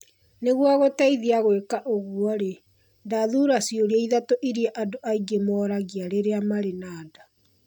Nĩguo ngũteithie gwĩka ũguo-rĩ, ndathuura ciũria ithatũ iria andũ aingĩ moragia rĩrĩa marĩ na nda.